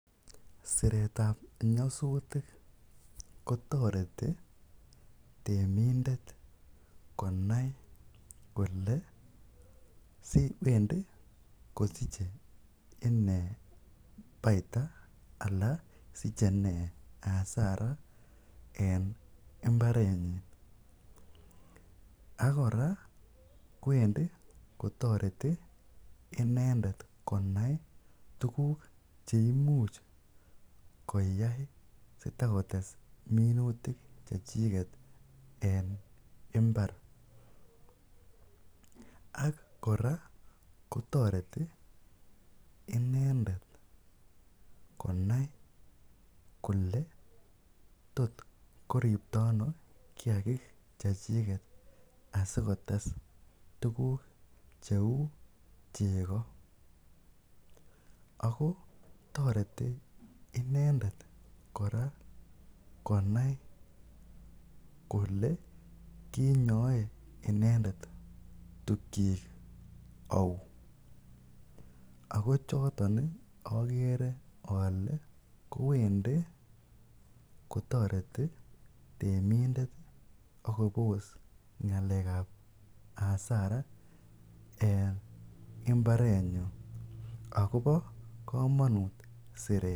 Siretab nyasutik kotoreti temindet konai kole wendi kosiche ine baida alan siche ine hasara en imbarenyin, ak kora kowendi kotoreti inendet konai tukuk che imuch koyai sitakotes minutik chechiket en imbar, ak kora kotoreti inendet konai kole tot koripto ano kiagik chechiket asikotes tukuk cheu chego, ako toreti inendet kora konai kole kinyoe inendet tugchik au, ako choton ii akere ale kowendi kotoreti temindet ak kobos ngalekab hasara en imbarenyun akobo kamanut siret.